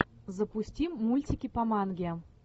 запусти мультики по манге